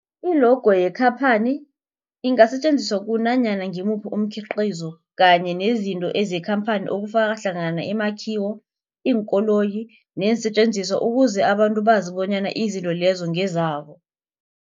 I-logo yekhaphani ingasetjenziswa kunanyana ngimuphi umkhiqizo kanye nezinto zekhamphani okufaka hlangana imakhiwo, iinkoloyi neesentjenziswa ukuze abantu bazi bonyana izinto lezo ngezabo.